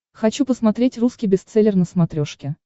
хочу посмотреть русский бестселлер на смотрешке